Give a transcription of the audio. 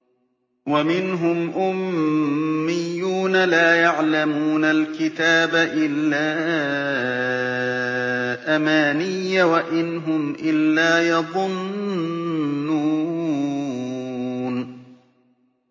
وَمِنْهُمْ أُمِّيُّونَ لَا يَعْلَمُونَ الْكِتَابَ إِلَّا أَمَانِيَّ وَإِنْ هُمْ إِلَّا يَظُنُّونَ